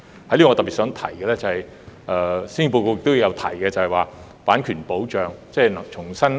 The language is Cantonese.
我想在此特別一提，施政報告建議就版權保障重新修例。